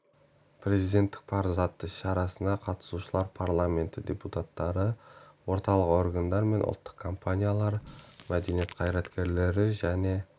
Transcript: перзенттік парыз атты шарасына қатысушылар парламенті депутаттары орталық органдар мен ұлттық компаниялар мәдениет қайраткерлері және